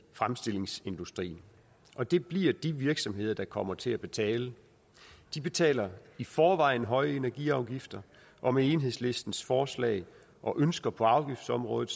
fremstillingsindustrien og det bliver de virksomheder der kommer til at betale de betaler i forvejen høje energiafgifter og med enhedslistens forslag og ønsker på afgiftsområdet